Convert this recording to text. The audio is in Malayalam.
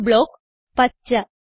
d ബ്ലോക്ക് - പച്ച